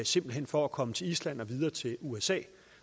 simpelt hen for at komme til island og videre til usa